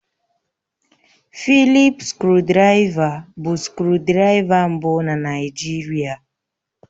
Fịlịp skrụdiraiva bụ skrụdiraiva mbụ na Naịjirịa